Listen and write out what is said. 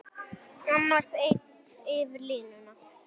Annars eigin yfir línuna.